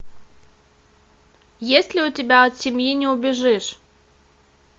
есть ли у тебя от семьи не убежишь